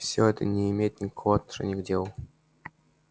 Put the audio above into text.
всё это не имеет никакого отношения к делу